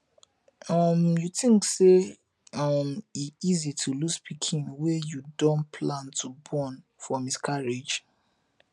um you think say um e easy to lose pikin wey you don plan to born for miscarriage